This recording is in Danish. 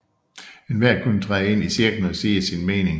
Enhver kunne træde ind i cirklen og sige sin mening